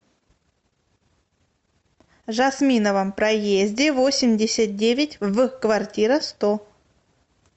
жасминовом проезде восемьдесят девять в квартира сто